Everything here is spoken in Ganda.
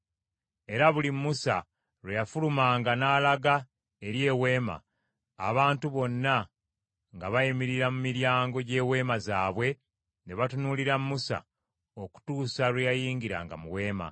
Era buli Musa lwe yafulumanga n’alaga eri Eweema, abantu bonna nga bayimirira mu miryango gy’eweema zaabwe ne batunuulira Musa okutuusa lwe yayingiranga mu Weema.